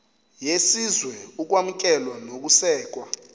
yesizwe ukwamkelwa nokusekwa